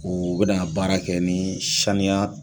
O bɛ na n ka baara kɛ ni saniya